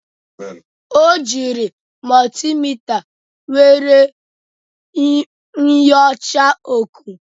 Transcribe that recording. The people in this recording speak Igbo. O jiiri mọltimita were nyochaa ọkụ.